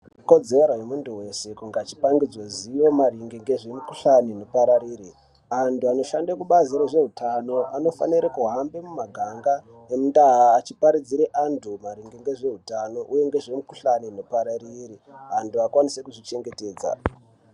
Ikodzero yemuntu weshe kunge achikupangidzwe ruzivo maringe ngezvemikhuhlani. Antu anoshande kubazi rezveutano anofanire kuhamba mumaganga nemundau achiparidzire antu maringe nezveutano uye ngezvemikhuhlani ikupararire antu akwanise kuzvichengetedza.